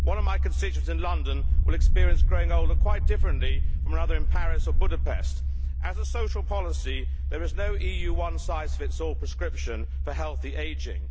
One of my constituents in London will experience growing older quite differently to another in Paris in Budapest. As a social policy, there is no EU one size fits all prescription for healthy ageing.